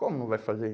Como não vai fazer?